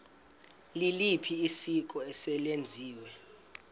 liliphi isiko eselenziwe